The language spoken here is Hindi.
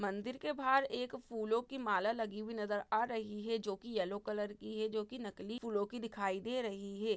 मन्दिर के बाहर एक फूलों की माला लगी हुई नजर आ रही है जो कि येल्लो कलर की है जो कि नकली फूलों की दिखाई दे रही है।